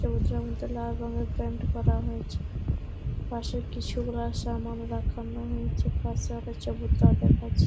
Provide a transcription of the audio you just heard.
মধ্যে লাল রঙের প্যান্ট পরানো রয়েছে। পাশে কিছু গুলা সামান রাখেন রয়েছে। পশে আরো দেখাচ্ছে।